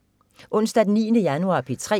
Onsdag den 9. januar - P3: